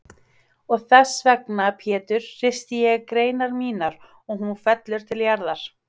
Og þessvegna Pétur hristi ég greinar mínar og hún fellur til jarðar.